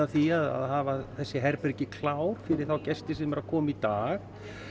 því að hafa þessi herbergi klár fyrir þá gesti sem eru að koma í dag